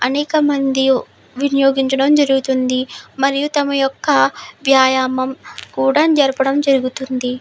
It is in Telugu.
అనేకమంది వినియోగించడం జరుగుతుంది మరియు తమ యొక్క వ్యాయామం కూడా జరపడం జరుగుతుంది.